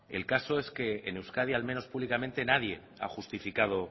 el caso es que en euskadi al menos públicamente nadie ha justificado